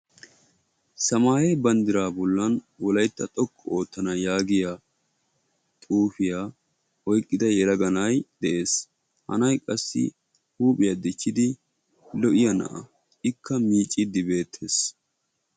Samaaye bandraa bollan wolaytta xoqqu oottana yaagiya xuufiya oyqqada yelaga na'iya dees, ha na'y qassi huuphphiya dichchidi lo'iya na'a ikka miicciidi beettees.